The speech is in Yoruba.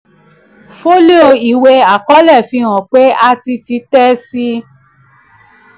fólíò ìwé àkọọ́lẹ̀ fi hàn pé a ti títẹ̀ síi.